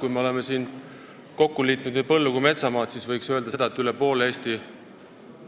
Kui me oleme kokku liitnud põllu- ja metsamaad, siis võib öelda, et üle poole Eesti